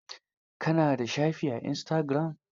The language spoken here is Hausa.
Ka na da shafi a istagiram?